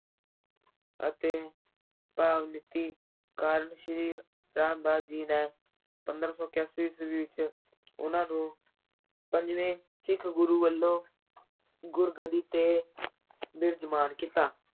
ਅਤੇ ਭਗਤੀ ਕਾਰਨ ਸ੍ਰੀ ਰਾਮਦਾਸ ਜੀ ਨੇ ਪੰਦਰਾਂ ਸੌ ਇਕਆਸੀ ਈਸਵੀ ਵਿੱਚ ਉਨ੍ਹਾਂ ਨੂੰ ਪੰਜਵੇਂ ਸਿੱਖ ਗੁਰੂ ਵੱਲੋਂ ਗੁਰਗੱਦੀ ਤੇ ਬਿਰਾਜਮਾਨ ਕੀਤਾ।